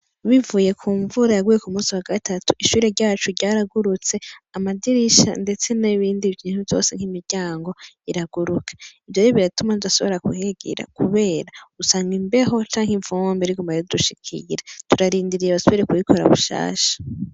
Bivuye kumvura yagusuye kumunsi wagatatu ishure ryacu ryaragurutse amadirisha ndetse nibindi bintu vyose , imiryango iraguruka ivyo rero biratuma tudasubira kuhigira kuvera usanga imbeho canke ivumbi ridushikira turarindiye kurikora gushasha.